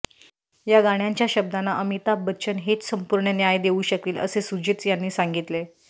या गाण्याच्या शब्दांना अमिताभ बच्चन हेच संपूर्ण न्याय देऊ शकतील असे सुजित यांनी सांगितले